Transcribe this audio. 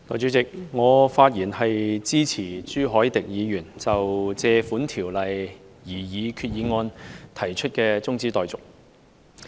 代理主席，我發言支持朱凱廸議員就根據《借款條例》動議的擬議決議案提出的中止待續議案。